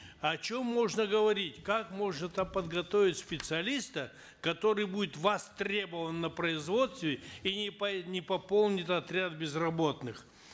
о чем можно говорить как можно там подготовить специалиста который будет востребован на производстве и не не пополнит отряд безработных